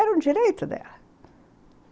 Era um direito dela.